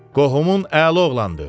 Qohumun əla oğlandır.